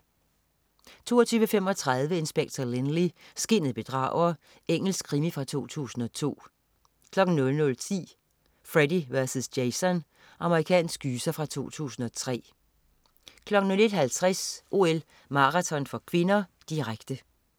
22.35 Inspector Lynley, skinnet bedrager. Engelsk krimi fra 2002 00.10 Freddy vs. Jason. Amerikansk gyser fra 2003 01.50 OL: Maraton (k), direkte